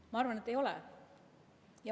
Mina arvan, et ei ole.